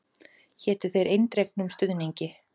Hétu þér eindregnum stuðningi.